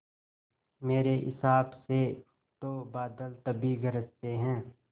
मेरे हिसाब से तो बादल तभी गरजते हैं